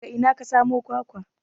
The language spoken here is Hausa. Daga ina ka samo kwakwa?